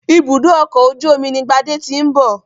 Ibùdó ọkọ̀ ojú omi ni Gbádé ti ń bọ̀.